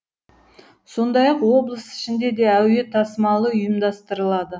сондай ақ облыс ішінде де әуе тасымалы ұйымдастырылады